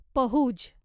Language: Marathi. पहुज